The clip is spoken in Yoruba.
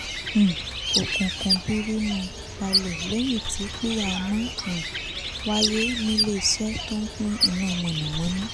um òkùnkùn birimú gbàlé lẹ́yìn tí píhá nà um wáyé ní lẹ́sẹ̀ tó ń pín iná mọ̀nàmọ́ná